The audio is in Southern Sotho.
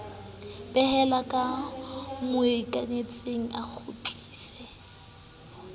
behela ba mmokanetseng a kgutlisa